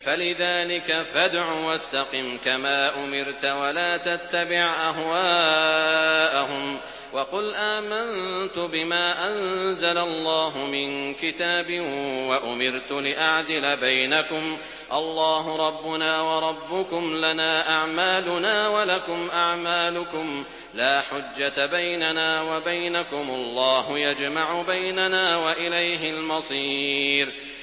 فَلِذَٰلِكَ فَادْعُ ۖ وَاسْتَقِمْ كَمَا أُمِرْتَ ۖ وَلَا تَتَّبِعْ أَهْوَاءَهُمْ ۖ وَقُلْ آمَنتُ بِمَا أَنزَلَ اللَّهُ مِن كِتَابٍ ۖ وَأُمِرْتُ لِأَعْدِلَ بَيْنَكُمُ ۖ اللَّهُ رَبُّنَا وَرَبُّكُمْ ۖ لَنَا أَعْمَالُنَا وَلَكُمْ أَعْمَالُكُمْ ۖ لَا حُجَّةَ بَيْنَنَا وَبَيْنَكُمُ ۖ اللَّهُ يَجْمَعُ بَيْنَنَا ۖ وَإِلَيْهِ الْمَصِيرُ